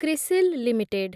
CRISIL limited